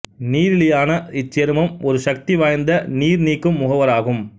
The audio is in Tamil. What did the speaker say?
நீரிலியான இச்சேர்மம் ஒரு சக்தி வாய்ந்த நீர் நீக்கும் முகவராகும்